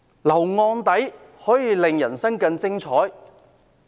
留案底可以令人生更精彩？